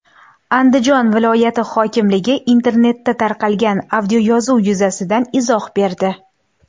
Andijon viloyati hokimligi internetda tarqalgan audioyozuv yuzasidan izoh berdi.